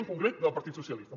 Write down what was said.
i en concret del partit socialistes